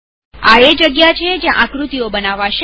આ એ જગ્યા છે જ્યાં આકૃતિઓ બનાવાશે